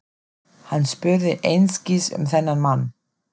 Hann spurði einskis um þennan mann.